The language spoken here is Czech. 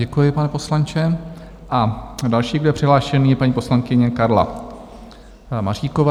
Děkuji, pane poslanče, a další, kdo je přihlášený, je paní poslankyně Karla Maříková.